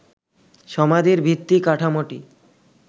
সমাধির ভিত্তি কাঠামোটি